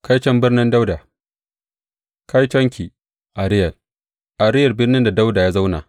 Kaiton birnin Dawuda Kaitonki, Ariyel, Ariyel birnin da Dawuda ya zauna!